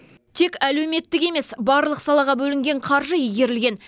тек әлеуметтік емес барлық салаға бөлінген қаржы игерілген